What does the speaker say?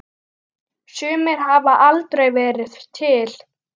Sumir hafa aldrei verið til.